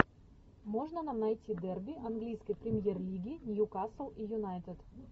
можно нам найти дерби английской премьер лиги нью касл и юнайтед